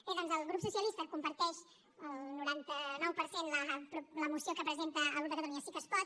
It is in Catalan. bé doncs el grup socialista comparteix al noranta nou per cent la moció que presenta el grup de catalunya sí que es pot